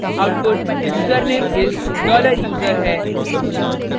output username is $user है